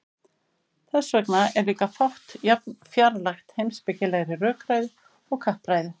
þess vegna er líka fátt jafn fjarlægt heimspekilegri rökræðu og kappræða